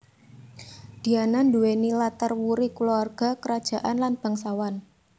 Diana nduwèni latar wuri kulawarga krajaan lan bangsawan